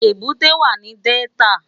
Ébùté wá ni Dèltá